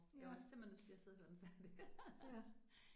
Ja. Ja